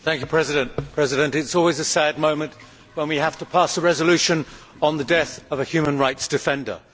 Mr President, it is always a sad moment when we have to pass a resolution on the death of a human rights defender.